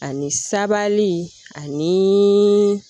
Ani sabali ani